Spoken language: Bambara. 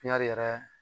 yɛrɛ